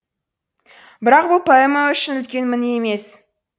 бірақ бұл поэма үшін үлкен мін емес